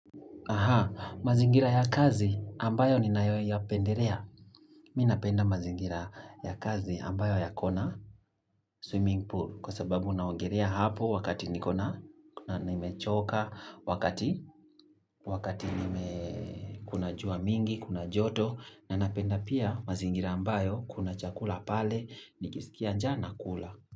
Aha, mazingira ya kazi ambayo ninayoyapenderea. Mi napenda mazingira ya kazi ambayo yako na swimming pool kwa sababu naongelea hapo wakati nikona nimechoka wakati wakati nime kuna jua mingi kuna joto na napenda pia mazingira ambayo kuna chakula pale nikisikia njaa nakula.